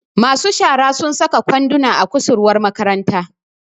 masu shara sun saka kwanduna a kusurwar makaranta